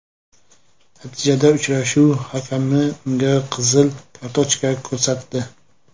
Natijada uchrashuv hakami unga qizil kartochka ko‘rsatdi.